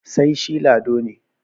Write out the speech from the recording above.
sai shi Lado ne